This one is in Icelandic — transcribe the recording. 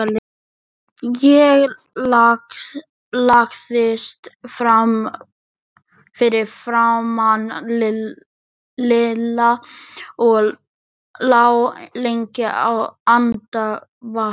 Ég lagðist fyrir framan Lilla og lá lengi andvaka.